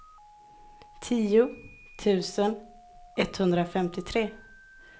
tio tusen etthundrafemtiotre